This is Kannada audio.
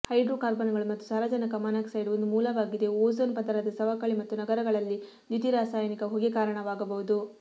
ಹೈಡ್ರೋಕಾರ್ಬನ್ಗಳು ಮತ್ತು ಸಾರಜನಕ ಮಾನಾಕ್ಸೈಡ್ ಒಂದು ಮೂಲವಾಗಿದೆ ಓಝೋನ್ ಪದರದ ಸವಕಳಿ ಮತ್ತು ನಗರಗಳಲ್ಲಿ ದ್ಯುತಿರಾಸಾಯನಿಕ ಹೊಗೆ ಕಾರಣವಾಗಬಹುದು